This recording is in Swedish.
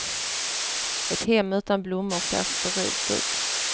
Ett hem utan blommor ser sterilt ut.